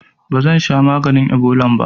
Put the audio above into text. Bazansha maganin ibolan ba